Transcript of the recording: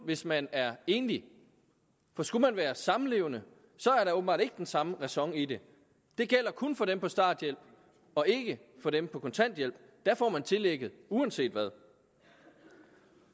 hvis man er enlig for skulle man være samlevende er der åbenbart ikke den samme ræson i det det gælder kun for dem på starthjælp og ikke for dem på kontanthjælp der får man tillægget uanset hvad